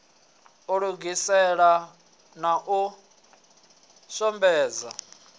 u lugisela na u shomedza